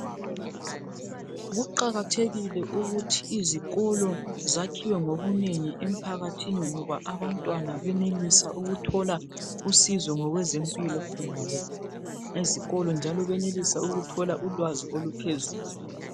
Kuqakathekile ukuthi izikolo zakhiwe ngobunengi emphakathini ngoba abantwana benelisa ukuthola usizo ngokwezempilo khonale ezikolo njalo benelisa ukuthola ulwazi oluphezulu.